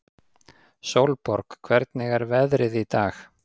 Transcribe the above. Sólborg, hvernig er veðrið í dag?